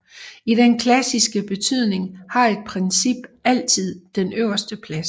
I den klassiske betydning har et princip altid den øverste plads